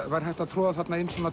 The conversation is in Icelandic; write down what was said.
væri hægt að troða inn